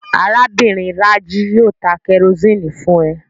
Arábìnrin Rájí yóò ta kẹrosíni fún ẹ